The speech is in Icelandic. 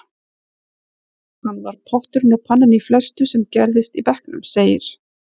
Hann var potturinn og pannan í flestu sem gerðist í bekknum, segir